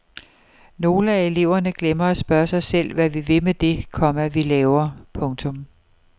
Nogle af eleverne glemmer at spørge sig selv hvad vi vil med det, komma vi laver. punktum